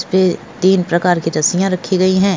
इस पे तीन प्रकार की रस्सियां रखी गई हैं।